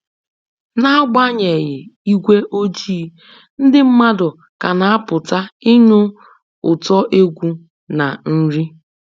N'agbanyeghị igwe ojii, ndị mmadụ ka na-apụta ịnụ ụtọ egwu na nri